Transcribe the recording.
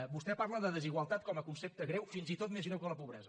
vostè parla de desigualtat com a concepte greu fins i tot més greu que la pobresa